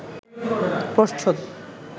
প্রচ্ছদ